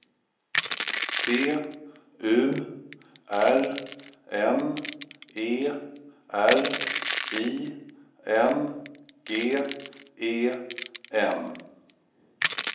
T U R N E R I N G E N